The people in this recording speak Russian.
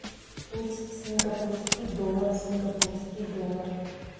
курс сингапурский доллар сингапурский доллар